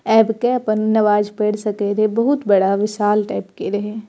आएब के अपन नमाज पढ़ सके रहे बहुत बड़ा विशाल टाइप के रहे।